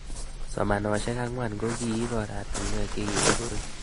Somanoshek ang'wan ko kiip oratinwek che kikipuruch